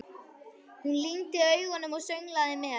Hún lygndi augunum og sönglaði með.